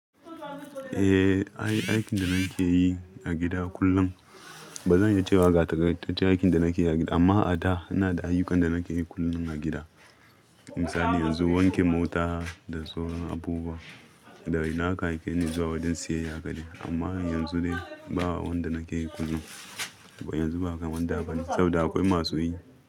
Eh, ai aikin da nake yi a gida kullum bazan iya cewa ga takaitaccen aikin da nake yi a gida amma a da ina da ayyukan da nake yi kullum a gida. Misali yanzu wanke mota da sauran abubuwa, da idan aka aike ni zuwa wajen siyayya a gari. Amma yanzu dai ba wanda nake yi kullum. Wa yanzu ba kaman da bane saboda akwai masu yi.